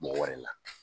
Mɔgɔ wɛrɛ la